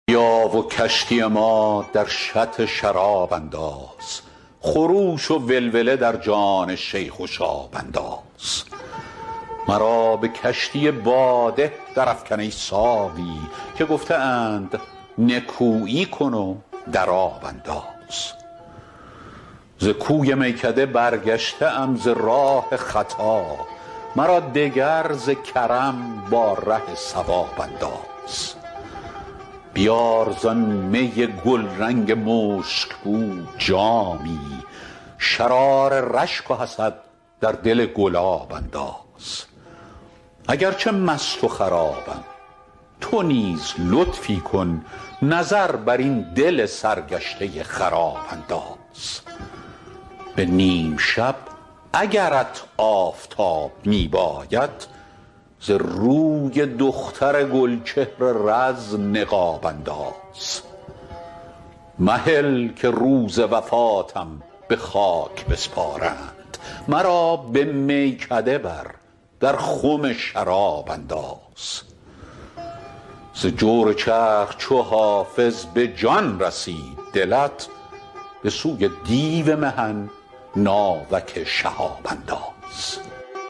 بیا و کشتی ما در شط شراب انداز خروش و ولوله در جان شیخ و شاب انداز مرا به کشتی باده درافکن ای ساقی که گفته اند نکویی کن و در آب انداز ز کوی میکده برگشته ام ز راه خطا مرا دگر ز کرم با ره صواب انداز بیار زآن می گلرنگ مشک بو جامی شرار رشک و حسد در دل گلاب انداز اگر چه مست و خرابم تو نیز لطفی کن نظر بر این دل سرگشته خراب انداز به نیم شب اگرت آفتاب می باید ز روی دختر گل چهر رز نقاب انداز مهل که روز وفاتم به خاک بسپارند مرا به میکده بر در خم شراب انداز ز جور چرخ چو حافظ به جان رسید دلت به سوی دیو محن ناوک شهاب انداز